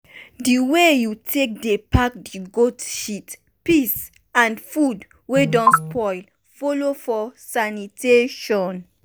di way you take dey pack the goat shit piss and food wey don spoil follow for sanitation.